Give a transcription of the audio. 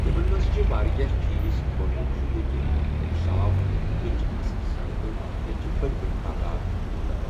تِمن منٛز چھِ واریاہ چیٖز گۄڈنیُٚک چھُ ییٚتہِ اوٚنٛد پوٚک صاف ییٚتہِ چھِ اَصٕل سَڑکہٕ ییٚتہِ چھِ بٔڈۍ بٔڈۍ باغات لُکَن۔